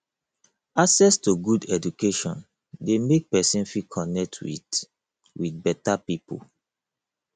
access to good education de make persin fit connect with with better pipo